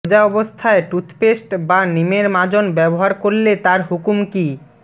রোজা অবস্থায় টুথপেস্ট বা নিমের মাজন ব্যবহার করলে তার হুকুম কী